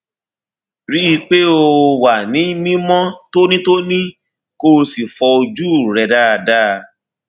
rí i pé o wà ní mímọ tónítóní kó o sì fọ ojú rẹ dáadáa